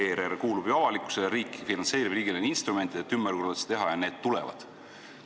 ERR kuulub ju avalikkusele ja riik finantseerib seda, ümberkorraldused tuleb teha ja need tulevad.